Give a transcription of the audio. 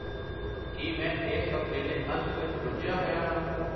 ਕੀ ਮੈਂ ਇਸ ਹਫਤੇ ਦੇ ਅੰਤ ਵਿੱਚ ਰੁੱਝਿਆ ਹੋਇਆ ਹਾਂ?